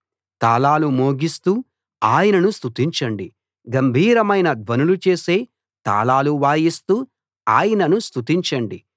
తాళాలు మోగిస్తూ ఆయనను స్తుతించండి గంభీరమైన ధ్వనులు చేసే తాళాలు వాయిస్తూ ఆయనను స్తుతించండి